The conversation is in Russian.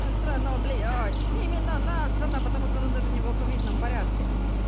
насрано блядь именно насрано потому что оно даже не в алфавитном порядке